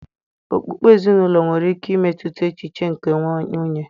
Okpukpe ezinụlọ nwere ike imetụta echiche nke nwunye